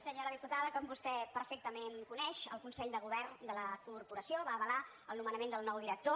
senyora diputada com vostè perfectament coneix el consell de govern de la corporació va avalar el nomenament del nou director